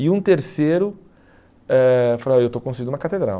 E um terceiro eh falou, ah eu estou construindo uma catedral.